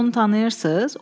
Siz onu tanıyırsınız?